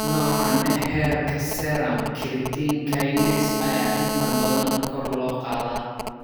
Noocan ah heerka serum creatine kinase ayaa inta badan kor loo qaadaa.